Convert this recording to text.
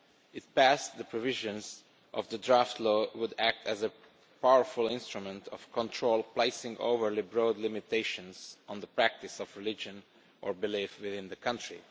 If passed, the provisions of the draft law would act as a powerful instrument of control, placing overly broad limitations on the practice of religion or belief within the country.